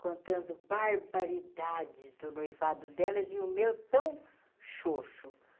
contando barbaridades do noivado delas e o meu tão xoxu.